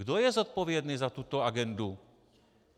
Kdo je zodpovědný za tuto agendu?